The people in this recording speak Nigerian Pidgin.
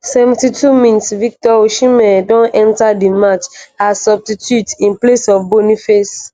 72 mins - victor osimhen don enta di match as substitute in place of boniface.